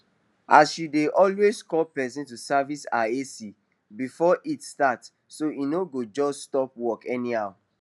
she dey always call person to service her ac before heat start so e no go just stop work anyhow